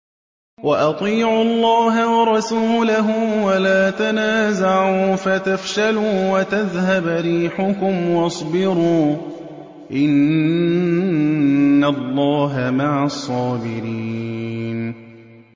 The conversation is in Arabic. وَأَطِيعُوا اللَّهَ وَرَسُولَهُ وَلَا تَنَازَعُوا فَتَفْشَلُوا وَتَذْهَبَ رِيحُكُمْ ۖ وَاصْبِرُوا ۚ إِنَّ اللَّهَ مَعَ الصَّابِرِينَ